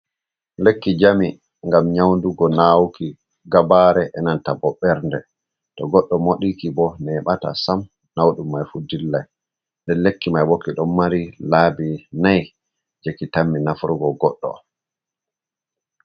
Lekki jami, ngam nyaundugo naawuki gabaare, e nanta bo ɓernde, to goɗɗo moɗi ki bo, neɓata sam naudum mai fuu dillai nden lekki mai bo, ki ɗon mari laabi nayi je ki tammi nafrugo goɗɗo.